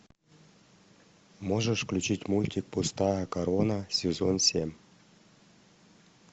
можешь включить мультик пустая корона сезон семь